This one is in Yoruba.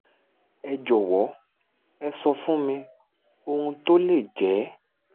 ẹ jọ̀wọ́ ẹ sọ fún mi ohun tó lè jẹ́?